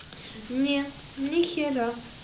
нет нехера